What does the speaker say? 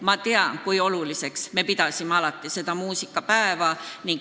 Ma tean, kui oluliseks on alati peetud muusikapäeva.